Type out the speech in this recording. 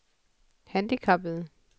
handicappede